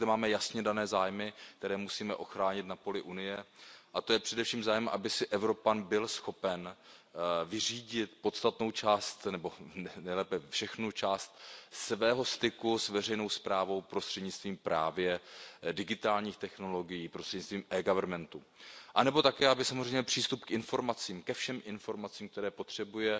Ale my zde máme jasně dané zájmy, které musíme ochránit na poli Unie, a to je především zájem, aby si Evropan byl schopen vyřídit podstatnou část nebo nejlépe všechnu část svého styku s veřejnou správou prostřednictvím právě digitálních technologií, prostřednictvím eGovernmentu, anebo také, aby samozřejmě přístup k informacím, ke všem informacím, které potřebuje